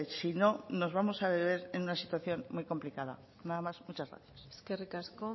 si no nos vemos a ver en una situación muy complicada nada más muchas gracias eskerrik asko